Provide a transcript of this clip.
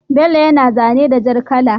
Bello yana zane da jar kala